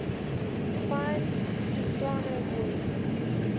fine soprano voice